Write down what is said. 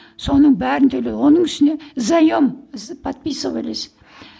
соның бәрін төле оның үстіне заем подписывались